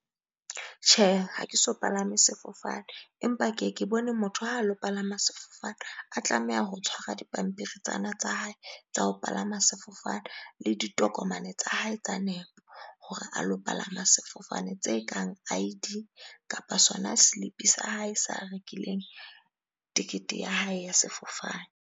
Tjhe, ha ke so palame sefofane, empa ke ye ke bone motho ha lo palama sefofane, a tlameha ho tshwara dipampiri tsena tsa hae tsa ho palama sefofane le di tokomane tsa hae tsa nepo. Hore a lo palama sefofane tse kang I_D kapa sona selipi sa hae se a rekileng, tekete ya hae ya sefofane.